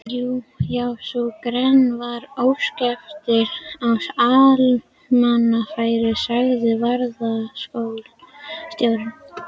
Já, sú grein varðar óspektir á almannafæri sagði varðstjórinn.